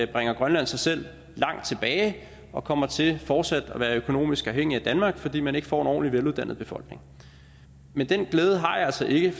bringer grønland sig selv langt tilbage og kommer til fortsat at være økonomisk afhængig af danmark fordi man ikke får en veluddannet befolkning men den glæde har jeg altså ikke